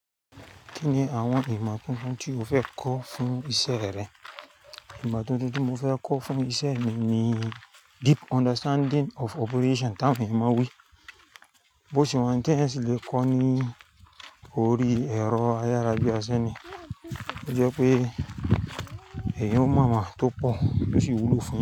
Kí ni àwọn ìmọ̀ tuntun tí o fẹ́ kọ́ fún ìṣe rẹ? Ìmọ̀ tuntun tí mo fẹ́ kọ́ fún ìṣe mi ni deep understanding of operation tá ń mú wí, bó ṣe wọ́n ń tẹ́ ẹ sì lè kọ́ ọ ní orí ẹ̀rọ ayára bíi aṣẹ́ni. Ó jọ pé èeyan ó mọ tó pọ̀ ó ṣì wúlò fún yan.